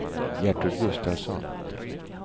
Gertrud Gustafsson